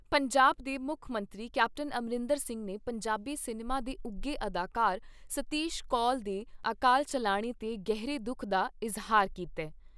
ਪੰਜਾਬ ਦੇ ਮੁੱਖ ਮੰਤਰੀ ਕੈਪਟਨ ਅਮਰਿੰਦਰ ਸਿੰਘ ਨੇ ਪੰਜਾਬੀ ਸਿਨੇਮਾ ਦੇ ਉੱਘੇ ਅਦਾਕਾਰ ਸਤੀਸ਼ ਕੌਲ ਦੇ ਅਕਾਲ ਚੱਲਾਣੇ 'ਤੇ ਗਹਿਰੇ ਦੁੱਖ ਦਾ ਇਜ਼ਹਾਰ ਕੀਤਾ ।